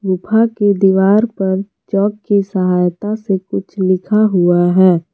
गुफा के दीवार पर चॉक की सहायता से कुछ लिखा हुआ है।